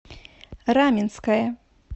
раменское